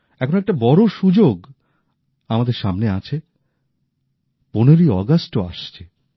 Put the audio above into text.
এখন একটা বড় সুযোগ আমাদের সামনে আছে ১৫ ই অগাস্টও আসছে